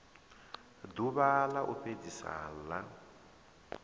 ḓuvha ḽa u fhedzisa ḽa